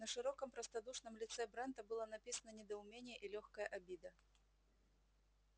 на широком простодушном лице брента было написано недоумение и лёгкая обида